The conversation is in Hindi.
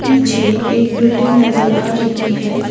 पीछे एक बिल्डिंग नजर आ रही है।